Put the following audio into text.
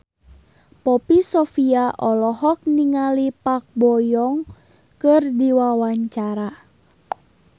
Poppy Sovia olohok ningali Park Bo Yung keur diwawancara